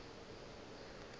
ke be ke na le